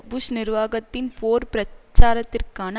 push நிர்வாகத்தின் போர் பிரச்சாரத்திற்கான